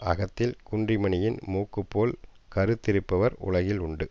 அகத்தில் குன்றிமணியின் மூக்குப்போல் கருத்திருப்பவர் உலகில் உணடு